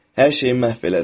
Hər şeyi məhv elədin.